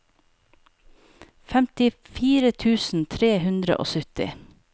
femtifire tusen tre hundre og sytti